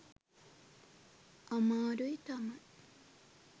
අමාරුයි තමයි.